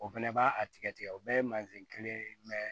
O fɛnɛ b'a a tigɛ tigɛ o bɛɛ ye mansin kelen ye